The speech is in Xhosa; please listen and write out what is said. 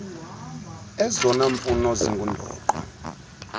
ezona mfuno zingundoqo